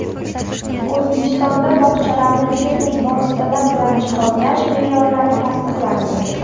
O‘zbekistonda bog‘chalarni texnik vositalar bilan jihozlash me’yorlari tasdiqlandi.